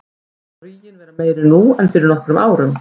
Telur þú ríginn vera meiri nú en fyrir nokkrum árum?